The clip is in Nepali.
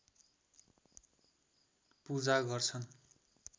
पूजा गर्छन्